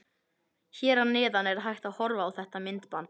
Hér að neðan er hægt að horfa á þetta myndband.